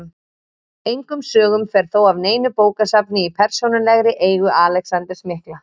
Engum sögum fer þó af neinu bókasafni í persónulegri eigu Alexanders mikla.